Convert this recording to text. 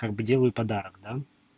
как бы делаю подарок да